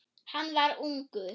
Hann var ungur.